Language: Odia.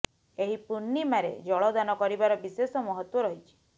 ଏହି ପୂର୍ଣ୍ଣିମାରେ ଜଳ ଦାନ କରିବାର ବିଶେଷ ମହତ୍ତ୍ବ ରହିଛି